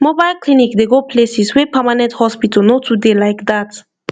mobile clinic dey go places wey permanent hospital no too dey like dat